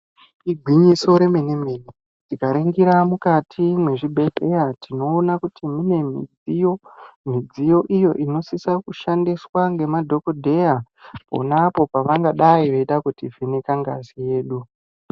Igwinyiso remene mene tikaningira mukati mezvibhedhlera tinoona kuti mune midziyo iyo inosisa kushandiswa nemadhokoteya pona apo pavangadai veida kuti vheneka ngazi yedu.